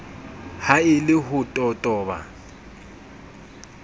ha e le ho totoba